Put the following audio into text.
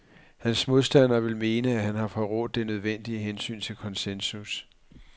Hans modstandere vil mene, at han har forrådt det nødvendige hensyn til konsensus.